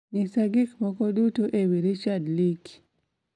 nyisa gik moko duto ewi richard likey